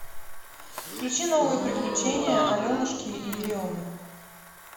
включи новые приключения аленушки и еремы